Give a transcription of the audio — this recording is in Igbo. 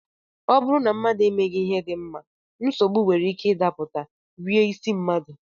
Ọ bụrụ na mmadụ emeghị ihe dị mma, nsogbu nwere ike ịdapụta, rie isi mmadụ